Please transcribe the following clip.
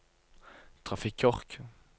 trafikkork